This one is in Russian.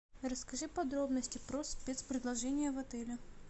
расскажи подробности про спецпредложения в отеле